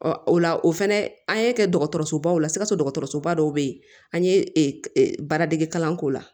o la o fɛnɛ an ye kɛ dɔgɔtɔrɔsobaw la sikaso dɔgɔtɔrɔsoba dɔw be yen an ye baaradege kalan k'o la